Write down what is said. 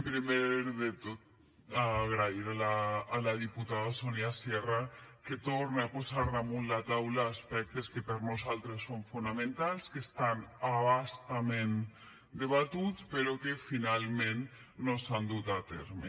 primer de tot agrair a la diputada sonia sierra que torne a posar damunt la taula aspectes que per nosaltres són fonamentals que estan a bastament debatuts però que finalment no s’han dut a terme